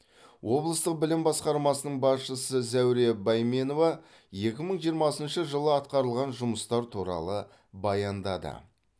облыстық білім басқармасының басшысы зәуре бәйменова екі мың жиырмасыншы жылы атқарылған жұмыстар туралы баяндады